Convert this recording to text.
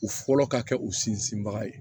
U fɔlɔ ka kɛ u sinsinbaga ye